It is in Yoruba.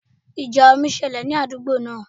Ìjà omi ṣẹlẹ̀ ní àdúgbò náà